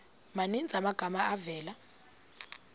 maninzi amagama avela